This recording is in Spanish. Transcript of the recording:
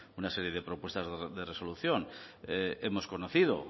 una serie de propuestas de resolución hemos conocido